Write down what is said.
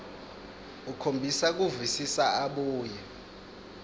ukhombisa kuvisisa abuye